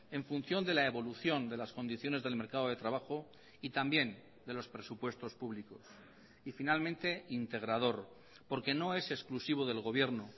en función de la evolución de las condiciones del mercado de trabajo y también de los presupuestos públicos y finalmente integrador porque no es exclusivo del gobierno